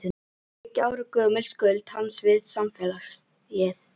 Þriggja ára gömul skuld hans við samfélagið.